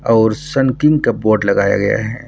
और सनकिंग के बोर्ड लगाया गया है।